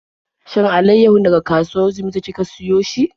Shin alaiyahun daga kasuwar Jimeta kika siyo shi?